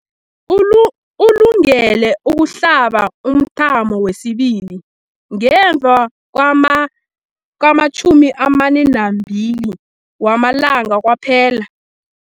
Ulungele ukuhlaba umthamo wesibili ngemva kwama-42 wamalanga kwaphela.